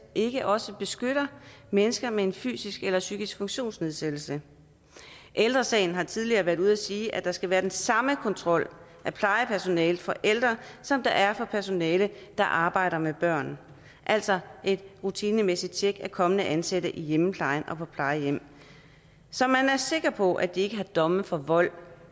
ikke også beskytter mennesker med en fysisk eller psykisk funktionsnedsættelse ældre sagen har tidligere været ude at sige at der skal være den samme kontrol af plejepersonalet for ældre som der er for personale der arbejder med børn altså et rutinemæssigt tjek af kommende ansatte i hjemmeplejen og på plejehjem så man er sikker på de ikke har domme for vold